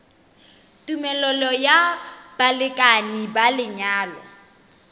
tumelelo ya balekane ba lenyalo